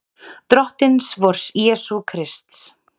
Drottins vors Jesú Krists.